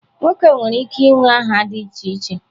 Nwoke nwere ike inwe aha dị iche iche.